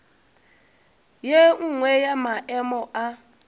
ye nngwe ya maemo a